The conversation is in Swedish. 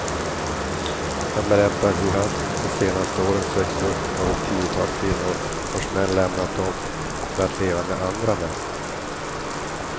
Han berättar hur han de senaste åren sökts upp av ett tiotal kvinnor vars män lämnat dem för att leva med andra män.